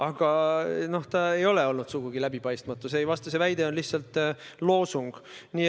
Aga toimuv ei ole olnud sugugi läbipaistmatu, see väide on lihtsalt loosung.